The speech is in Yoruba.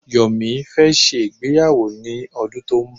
Yomi fẹ́ ṣe ìgbéyàwó ní ọdún tó n bọ̀.